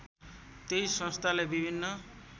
त्यही संस्थाले विभिन्न